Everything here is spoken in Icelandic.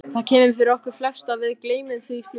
Það kemur fyrir okkur flest og við gleymum því fljótt.